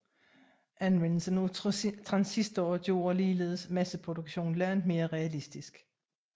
Anvendelsen af transistorer gjorde ligeledes masseproduktion langt mere realistisk